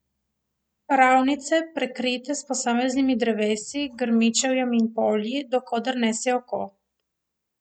Ravnice, prekrite s posameznimi drevesi, grmičevjem in polji, do koder nese oko.